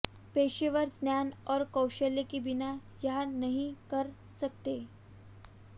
पेशेवर ज्ञान और कौशल के बिना यहाँ नहीं कर सकते